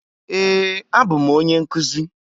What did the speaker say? Ee, abụ m onye nkuzi.